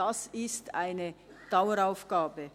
Das ist eine Daueraufgabe.